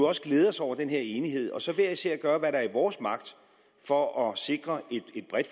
også glæde os over den her enighed og så hver især gøre hvad der står i vores magt for at sikre